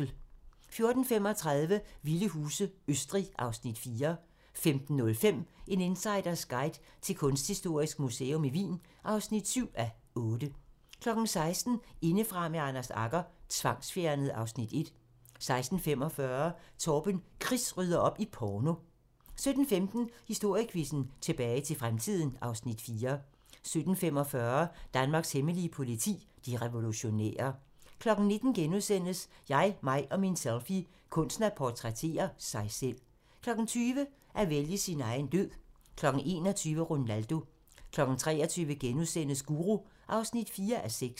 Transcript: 14:35: Vilde huse - Østrig (Afs. 4) 15:05: En insiders guide til Kunsthistorisk Museum Wien (7:8) 16:00: Indefra med Anders Agger - Tvangsfjernet (Afs. 1) 16:45: Torben Chris rydder op i porno 17:15: Historiequizzen: Tilbage til fremtiden (Afs. 4) 17:45: Danmarks hemmelige politi: De revolutionære 19:00: Jeg, mig og min selfie - kunsten at portrættere sig selv * 20:00: At vælge sin egen død 21:00: Ronaldo 23:00: Guru (4:6)*